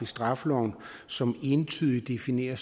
straffeloven som entydigt definerer